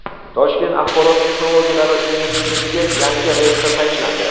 Toshkent axborot texnologiyalari universitetiga yangi rektor tayinlandi.